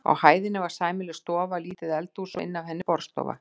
Á hæðinni var sæmileg stofa, lítið eldhús inn af henni og borðstofa.